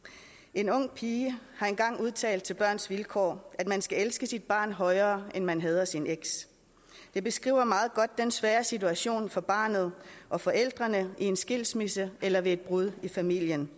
en ung pige har engang udtalt til børns vilkår at man skal elske sit barn højere end man hader sin eks det beskriver meget godt den svære situation for barnet og forældrene i en skilsmisse eller ved et brud i familien